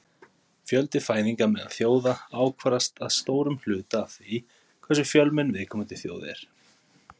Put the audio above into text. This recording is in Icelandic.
Fjöldi fæðinga meðal þjóða ákvarðast að stórum hluta af því hversu fjölmenn viðkomandi þjóð er.